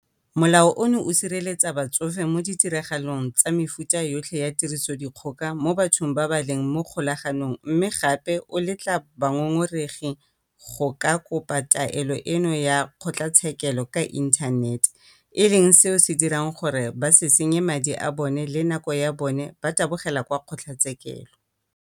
Molao ono o sireletsa batsofe mo ditiragalong tsa mefuta yotlhe ya tirisodikgoka mo bathong ba ba leng mo kgolaganong mme gape o letla bangongoregi go ka kopa taelo eno ya kgotlatshekelo ka inthanete, e leng seo se dirang gore ba se senye madi a bona le nako ya bona ba tabogela kwa kgotlatshekelo.